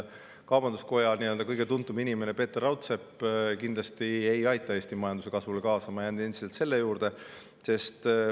Kaubanduskoja kõige tuntum inimene Peeter Raudsepp kindlasti ei aita Eesti majanduse kasvule kaasa, ma jään endiselt selle juurde.